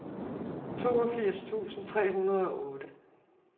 toogfirs tusind tre hundrede og otte